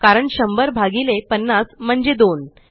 कारण 100 भगीले 50 म्हणजे 2